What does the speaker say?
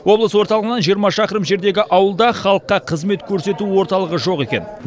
облыс орталығынан жиырма шақырым жердегі ауылда халыққа қызмет көрсету орталығы жоқ екен